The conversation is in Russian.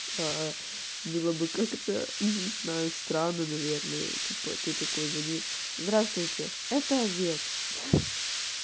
было бы как-то не знаю странно наверное типа ты такой звонишь здравствуйте это овет